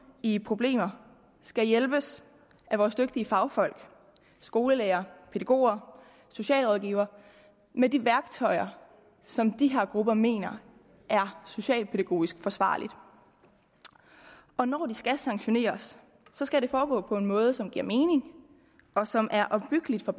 i problemer skal hjælpes af vores dygtige fagfolk skolelærere pædagoger og socialrådgivere med de værktøjer som de her grupper mener er socialpædagogisk forsvarlige og når de skal sanktioneres skal det foregå på en måde som giver mening og som er opbyggelig for